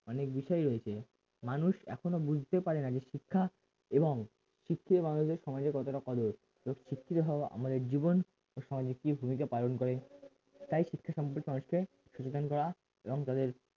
অনেক বিষয় রয়েছে মানুষ এখনো বুঝতে পারে না যে শিক্ষা এবং শিক্ষিত মানুষদের সমাজে কতটা কদর যে শিক্ষিত হওয়া আমাদের জীবন ও সমাজে কি ভূমিকা পালন করে তাই শিক্ষা সম্পর্কে মানুষকে সচেতন করা এবং তাদের